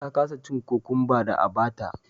ta kasa cin cucumba da a bata